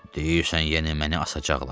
Deyirsən yenə məni asacaqlar?